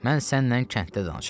Mən sənnən kənddə danışaram.